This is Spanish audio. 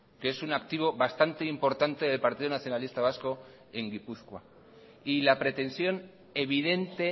que es un activo bastante importante del partido nacionalista vasco en gipuzkoa y la pretensión evidente